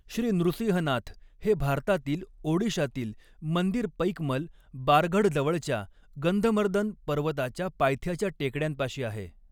श्री नृसिंहनाथ हे भारतातील ओडिशातील मंदिर पैकमल, बारगढजवळच्या गंधमर्दन पर्वताच्या पायथ्याच्या टेकड्यांपाशी आहे.